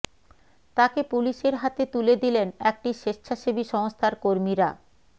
তাকে পুলিশের হাতে তুলে দিলেন একটি স্বেচ্ছাসেবী সংস্থার কর্মীরা